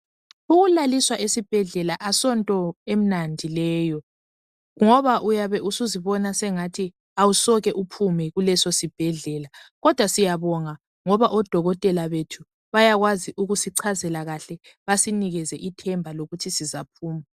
Ukulaliswa esibhedlela asonto emnandi leyo, ngoba uyabe usuzibona ngathi awesome uphume kuleso sibhedlela. Kodwa ngoba odokotela bethu bayakwazi ukusichazela kahle basinikeze ithemba lokuthi sizophuma.